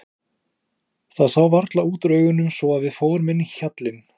Það sá varla út úr augunum svo að við fórum inn í hjallinn.